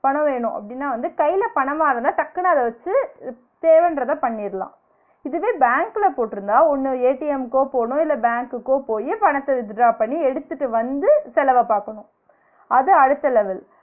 பணம் வேணும் அப்டினா வந்து கைல பணமா இருந்தா டக்குனு அத வச்சு தேவன்றத பண்ணிரலாம், இதுவே பேங்க்ல போட்டிருந்தா ஒன்னு க்கோ போனும் இல்ல பேங்க்குக்கோ போயி பணத்த withdraw பண்ணி எடுத்துட்டு வந்து செலவ பாக்கணும், அது அடுத்த level